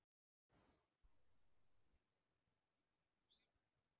Hödd: En finnst þér gaman í prófinu sjálfu?